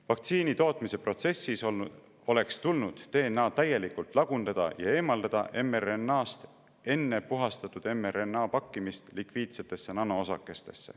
Vaktsiinitootmise protsessis oleks tulnud DNA täielikult lagundada ja eemaldada mRNA-st enne puhastatud mRNA pakkimist lipiidsetesse nanoosakestesse.